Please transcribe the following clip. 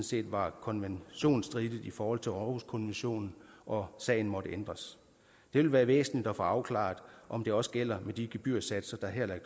set var konventionsstridigt i forhold til århuskonventionen og sagen måtte ændres det vil være væsentligt at få afklaret om det også gælder med de gebyrsatser der her er